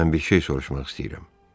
Mən bir şey soruşmaq istəyirəm.